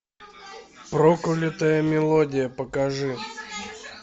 проклятая мелодия покажи